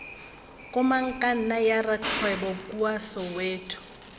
komangkanna ya rakgwebo kua soweto